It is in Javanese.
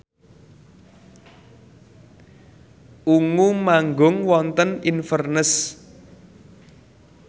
Ungu manggung wonten Inverness